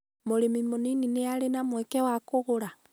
mũrĩmi mũnĩnĩ nĩarĩ na mweke wa gũkũra?